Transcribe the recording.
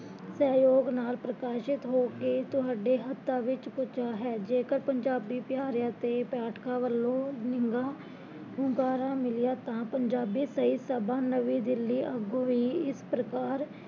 ਸਹਜੋਗ ਨਾਲ਼ ਪ੍ਰਕਾਸ਼ਿਤ ਹੋ ਕੇ ਤੁਹਾਡੇ ਹੱਥਾਂ ਵਿੱਚ ਪੁੱਜਾ ਹੈ ਜੇਕਰ ਪੰਜਾਬੀ ਪਿਆਰਿਆ ਅਤੇ ਪਾਠਕਾਂ ਵੱਲੋਂ ਨਿਗਾ ਹੁੰਗਾਰਾ ਮਿਲਿਆ ਤਾਂ ਪੰਜਾਬੀ ਸਹੀਂ ਸਬਾ ਨਵੀਂ ਦਿੱਲੀ ਅੱਗੋਂ ਵੀ ਇਸ ਪ੍ਰਕਾਰ